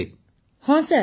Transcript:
ପୁନମ ନୌଟିଆଲ ହଁ ସାର୍